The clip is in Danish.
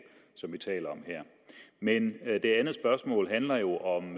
som vi taler om her men det andet spørgsmål handler jo om